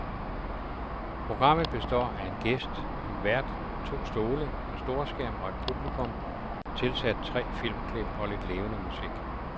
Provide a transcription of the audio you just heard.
Programmet består af en gæst, en vært, to stole, en storskærm og et publikum, tilsat tre filmklip og lidt levende musik.